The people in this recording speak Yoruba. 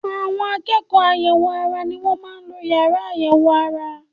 Àwọn akẹ́kọ̀ọ́ àyẹ̀wò ara ni wọ́n máa ń lo yàrá àyẹ̀wò ara